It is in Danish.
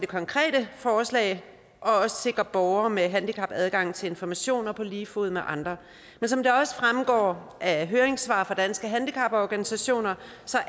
konkrete forslag og også sikre borgere med handicap adgang til informationer på lige fod med andre men som det også fremgår af høringssvar fra danske handicaporganisationer